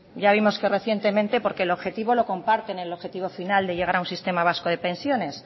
ya vimos que recientemente porque el objetivo lo comparten el objetivo final de llegar a un sistema vasco de pensiones